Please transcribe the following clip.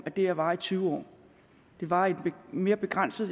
at det her varer i tyve år det varer i en mere begrænset